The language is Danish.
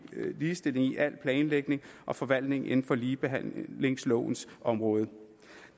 ligestilling i al planlægning og forvaltning inden for ligebehandlingslovens område